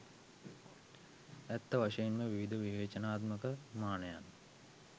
ඇත්ත වශයෙන්ම විවිධ විවේචනාත්මක මානයන්